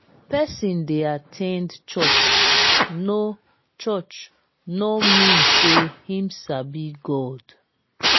persin de at ten d church no church no mean say him sabi god